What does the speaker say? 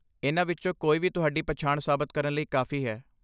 ਇਹਨਾਂ ਵਿੱਚੋਂ ਕੋਈ ਵੀ ਤੁਹਾਡੀ ਪਛਾਣ ਸਾਬਤ ਕਰਨ ਲਈ ਕਾਫੀ ਹੈ।